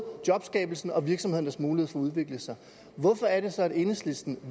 jobskabelsen og virksomhedernes mulighed for at udvikle sig hvorfor er det så at enhedslisten